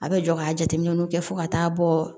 A bɛ jɔ ka jateminɛw kɛ fo ka taa bɔ